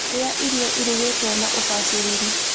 Ria irio irugitwo na ubaciriri.